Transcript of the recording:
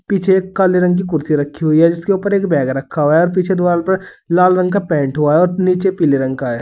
पीछे एक काले रंग की कुर्सी रखी हुई है जिसके ऊपर एक बैग रखा हुआ है और पीछे दीवाल पर लाल रंग का पेंट हुआ है और नीचे पीले रंग का है।